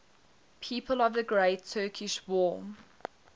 people of the great turkish war